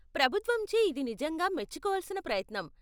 ప్రభుత్వంచే ఇది నిజంగా మెచ్చుకోవలసిన ప్రయత్నం.